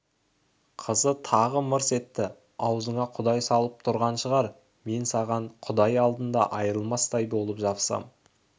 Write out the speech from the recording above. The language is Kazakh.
қызы тағы мырс етті аузыңа құдай салып тұрған шығар мен саған құдай алдында айрылмастай болып жабысам